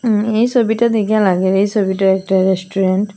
এই সবিটা দেইখ্যা লাগে এই সবিটা একটা রেস্টুরেন্ট ।